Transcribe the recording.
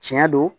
Tiɲɛ do